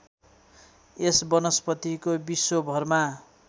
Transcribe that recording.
यस वनस्पतिको विश्वभरमा